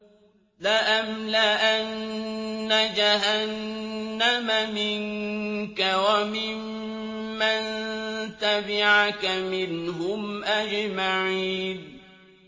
لَأَمْلَأَنَّ جَهَنَّمَ مِنكَ وَمِمَّن تَبِعَكَ مِنْهُمْ أَجْمَعِينَ